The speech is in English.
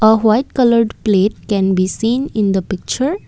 a white coloured plate can be seen in the picture.